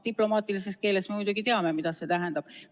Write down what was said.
Me muidugi teame, mida see diplomaatilises keeles tähendab.